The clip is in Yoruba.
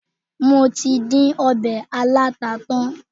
Mo tí dín ọbẹ̀ aláta tán.